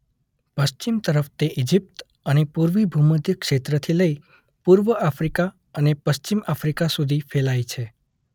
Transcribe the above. પશ્ચિમ તરફ તે ઈજીપ્ત અને પૂર્વી ભૂમધ્ય ક્ષેત્રથી લઈ પૂર્વ આફ્રીકા અને પશ્ચિમ આફ્રીકા સુધી ફેલાઈ છે.